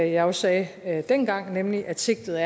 jeg også sagde dengang nemlig at sigtet